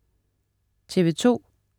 TV2: